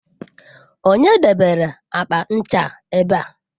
Onye debere akpa ncha a ebe a?